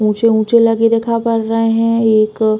ऊंचे-ऊंचे लगे रेखा पड़ रहे हैं। एक --